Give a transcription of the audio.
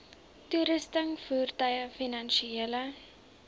toerusting voertuie finansiële